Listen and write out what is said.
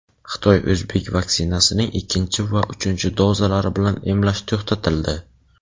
Xitoy-o‘zbek vaksinasining ikkinchi va uchinchi dozalari bilan emlash to‘xtatildi.